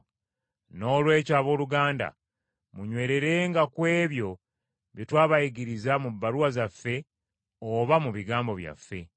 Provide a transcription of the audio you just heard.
Noolwekyo abooluganda, munywererenga ku ebyo bye twabayigiriza mu bbaluwa zaffe oba mu bigambo byaffe.